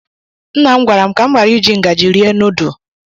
Nna' m gwara m ka m ghara iji ngaji rie nudu.